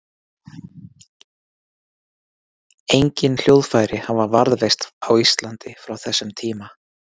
Engin hljóðfæri hafa varðveist á Íslandi frá þessum tíma.